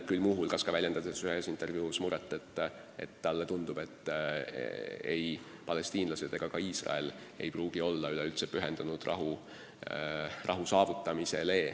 Samas väljendas ta ühes intervjuus muret, et talle tundub, et ei palestiinlased ega ka Iisrael ei pruugi üleüldse olla pühendunud rahu saavutamisele.